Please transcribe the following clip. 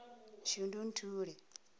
shundunthule